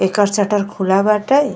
एकर shutter खुला बाटे।